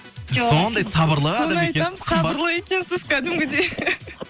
сіз сондай сабырлы сабырлы екенсіз кәдімгідей